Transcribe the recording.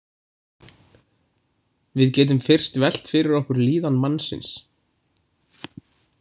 Við getum fyrst velt fyrir okkur líðan mannsins.